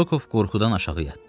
Rokov qorxudan aşağı yatdı.